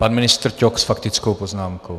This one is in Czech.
Pan ministr Ťok s faktickou poznámkou.